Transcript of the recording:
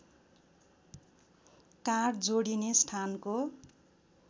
काँध जोडिने स्थानको